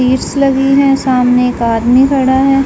लगी है। सामने एक आदमी खड़ा है।